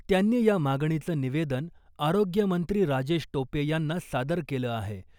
त्यांनी या मागणीचं निवेदन आरोग्यमंत्री राजेश टोपे यांना सादर केलं आहे .